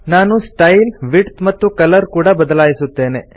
ನಾನು style width ಮತ್ತು colour ಕೂಡ ಬದಲಾಯಿಸುತ್ತೇನೆ